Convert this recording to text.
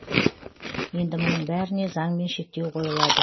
енді мұның бәріне заңмен шектеу қойылады